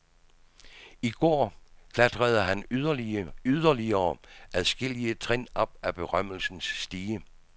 I går klatrede han yderligere adskillige trin op ad berømmelsens stige.